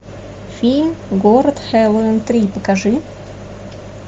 фильм город хэллоуин три покажи